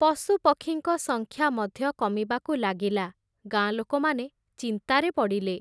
ପଶୁପକ୍ଷୀଙ୍କ ସଂଖ୍ୟା ମଧ୍ୟ କମିବାକୁ ଲାଗିଲା, ଗାଁ ଲୋକମାନେ ଚିନ୍ତାରେ ପଡ଼ିଲେ ।